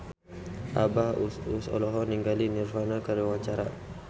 Abah Us Us olohok ningali Nirvana keur diwawancara